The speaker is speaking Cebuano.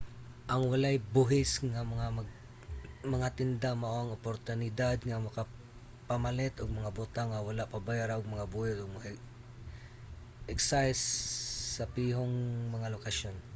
ang walay-buhis nga mga tinda mao ang oportunidad nga makapamalit og mga butang nga wala pabayra og mga buhis ug mga excise sa pihong mga lokasyon